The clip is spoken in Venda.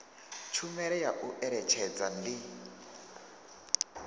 tshumelo ya u eletshedza ndi